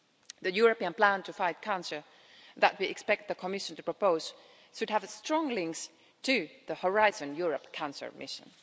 The European plan to fight cancer that we expect the Commission to propose should have strong links to the Horizon Europe cancer mission.